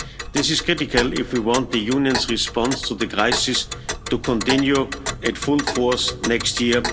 This is critical if we want the Union's response to the crisis to continue at full force next year.